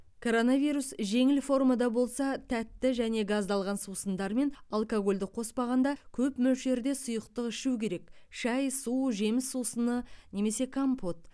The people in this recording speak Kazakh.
коронавирус жеңіл формада болса тәтті және газдалған сусындар мен алкогольді қоспағанда көп мөлшерде сұйықтық ішу керек шай су жеміс сусыны немесе компот